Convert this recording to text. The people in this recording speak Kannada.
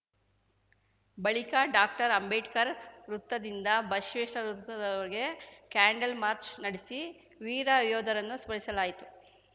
ಬಳಿಕ ಡಾಕ್ಟರ್ ಅಂಬೇಡ್ಕರ್ ವೃತ್ತದಿಂದ ಬಸವೇಶ್ವರ ವೃತ್ತದವರೆಗೆ ಕ್ಯಾಂಡಲ್‌ ಮಾರ್ಚ್ ನೆಡೆಸಿ ವೀರ ಯೋಧರನ್ನು ಸ್ಮರಿಸಲಾಯಿತು